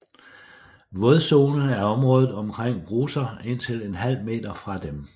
Vådzone er området omkring bruser indtil en halv meter fra dem